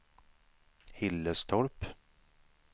Hillerstorp